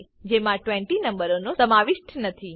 જેમાં 20 નંબરનો સમાવિષ્ટ નથી